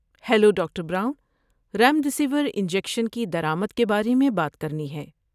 hello, doctor Brown, remdesivir injection کی درآمد کے بارے میں بات کرنی ہے